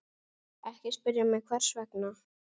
Ekki spyrja mig hvers vegna.